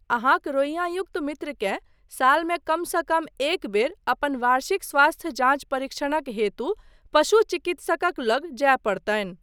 अहाँक रोइआँयुक्त मित्रकेँ सालमे कमसँ कम एकबेर अपन वार्षिक स्वास्थ्य जाँच परिक्षणक हेतु पशु चिकित्सकक लग जाय पड़तनि।